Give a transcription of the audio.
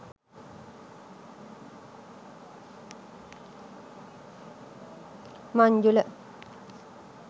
manjula